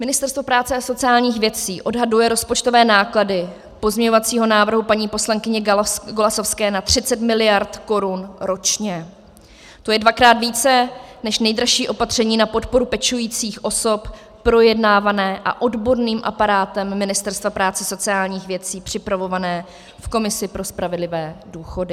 Ministerstvo práce a sociálních věcí odhaduje rozpočtové náklady pozměňovacího návrhu paní poslankyně Golasowské na 30 miliard korun ročně, to je dvakrát více než nejdražší opatření na podporu pečujících osob projednávané a odborným aparátem Ministerstva práce a sociálních věcí připravované v Komisi pro spravedlivé důchody.